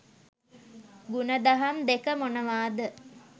ගුණදහම් දෙක මොනවාද?